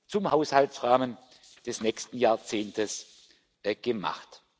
zum Haushaltsrahmen des nächsten Jahrzehntes gemacht.